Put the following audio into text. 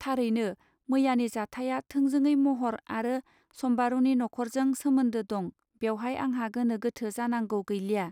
थारैनो मैयानि जाथाया थोंजोङै महर आरो सम्बारूनि न'खरजों सोमोन्दों दं बेवहाय आंहा गोनो गोथो जानांगौ गैलिया